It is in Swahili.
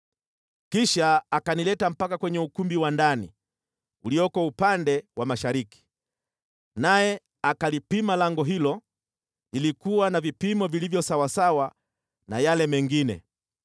Kisha akanileta mpaka kwenye ukumbi wa ndani ulioko upande wa mashariki, naye akalipima lango hilo, lilikuwa na vipimo vilivyo sawasawa na yale mengine.